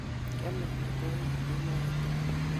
Kiamei amitwokik an kemoi tugul